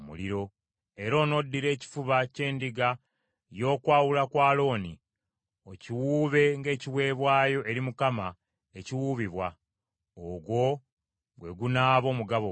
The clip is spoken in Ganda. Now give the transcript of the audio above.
Era onoddira ekifuba ky’endiga y’okwawulibwa kwa Alooni, okiwuube ng’ekiweebwayo eri Mukama ekiwuubibwa; ogwo gwe gunaaba omugabo gwo.